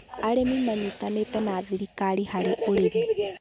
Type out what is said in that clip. arĩmi manyitanĩte na thirikari harĩ ũrĩmi